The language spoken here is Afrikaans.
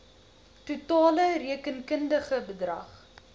totale rekenkundige bedrag